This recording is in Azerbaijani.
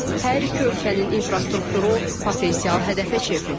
Hər iki ölkənin infrastrukturu potensial hədəfə çevrilib.